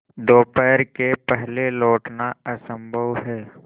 दोपहर के पहले लौटना असंभव है